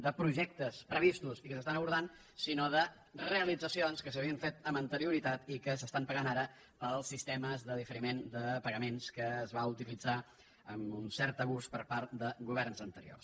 de projectes previstos i que s’estan abordant sinó de realitzacions que s’havien fet amb anterioritat i que s’estan pagant ara pels sistemes de diferiment de pagaments que es va utilitzar amb un cert abús per part de governs anteriors